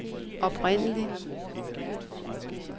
oprindelig